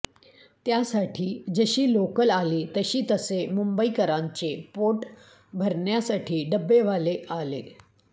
त्यासाठी जशी लोकल आली तशी तसे मुंबईकरांचे पोट भरण्यासाठी डब्बेवाले आले